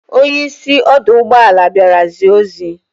Onye isi ọdọ ụgbọelu bịara zie ozi